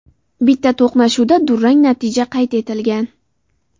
Bitta to‘qnashuvda durang natija qayd etilgan.